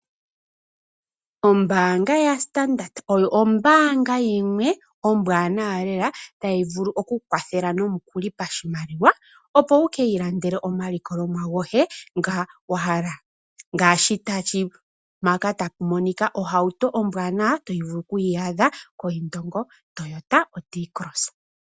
Ombaanga yaStandard oyo ombaanga yimwe ombwaanawa lela tayi vulu okukwathela nomukuli pashimaliwa, opo wu ki ilandele omalikolomwa goye ngoka wa hala ngaashi tapu monika ohauto ombwanawa to vulu oku yi adha koIndongo Toyota oT-Cross.